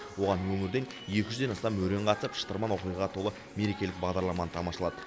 оған өңірден екі жүзден астам өрен қатысып шытырман оқиғаға толы мерекелік бағдарламаны тамашалады